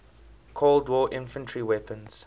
cold war infantry weapons